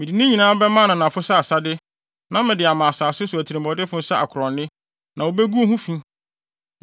Mede ne nyinaa bɛma ananafo sɛ asade na mede ama asase so atirimɔdenfo sɛ akorɔnne, na wobegu ho fi.